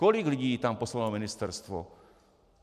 Kolik lidí tam poslalo ministerstvo?